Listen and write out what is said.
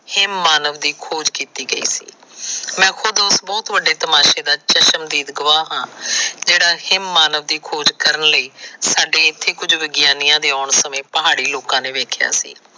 Have ਮਾਨਵ ਦੀ ਖੋਜ ਕੀਤੀ ਗਈ ਸੀ। ਮੈਂ ਖੁਦ ਉਸ ਬਹੁਤ ਵੱਡੇ ਤਸ਼ਮਦੀਦ ਗੁਆਹ ਹਾਂ। ਜਿਹੜਾ ਹੇਵ ਮਾਨਵ ਦੀ ਖੋਜ ਕਰਨ ਲਈ ਸਾਡੇ ਇਥੇ ਕੁਝ ਵਿਗਿਆਨੀਆਂ ਦੇ ਆਉਣ ਸਮੇ ਪਹਾੜੀ ਸਮੇ ਦੇਖਿਆਂ ਸੀ।